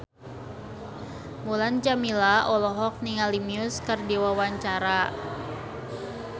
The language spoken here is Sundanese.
Mulan Jameela olohok ningali Muse keur diwawancara